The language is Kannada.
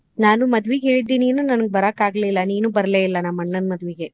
ಇಲ್ಲ ನಾನು ಮದ್ವಿಗ ಹೇಳಿದ್ದಿ ನೀನು ನನಗ್ ಬರಾಕಾಗ್ಲಿಲ್ ನೀನು ಬರ್ಲೇಯಿಲ್ಲ ನಮ್ಮ್ ಅಣ್ಣನ್ ಮದ್ವಿಗ.